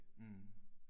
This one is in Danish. Mh